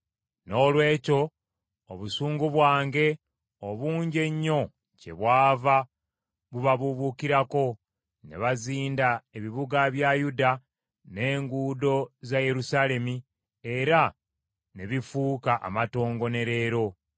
Noolwekyo, obusungu bwange obungi ennyo kyebwava bubabuubuukira; ne buzinda ebibuga bya Yuda n’enguudo za Yerusaalemi era ne bifuuka amatongo, ne leero.